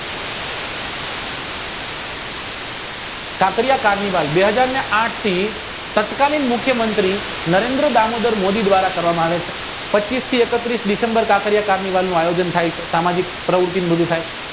કાંકરિયા વાયુ બેહજારને આઠ થી ફાટકની મુખ્ય મંત્રી નરેન્દ્ર દામોદર મોદી દ્વારા કરવામાં આવે છે પચીસ થી એકત્રીશ ડિસેમ્બર કાંકરિયા વાવનું અયીજન થઈ છે સામાજિક પ્રવૃતિઓ થાય